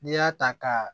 N'i y'a ta ka